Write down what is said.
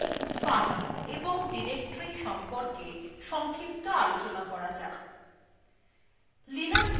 পরবর্তী আলোচনার পূর্বে files এবং ডিরেক্টরীর সম্বন্ধে সংক্ষিপ্ত আলোচনা করা যাক